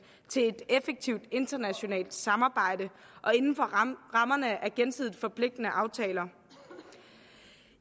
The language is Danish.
til et effektivt internationalt samarbejde og inden for rammerne af gensidigt forpligtende aftaler